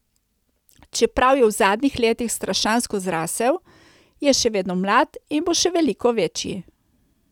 Čeprav je v zadnjih letih strašansko zrasel, je še vedno mlad in bo še veliko večji.